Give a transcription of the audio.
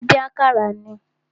A má ń dín àkàrà ni.